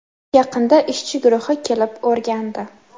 Yaqinda ishchi guruhi kelib, o‘rgandi.